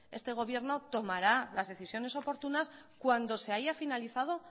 este gobierno tomará las decisiones oportunas cuando se haya finalizado